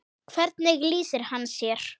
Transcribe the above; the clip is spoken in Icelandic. Hvernig lýsir hann sér?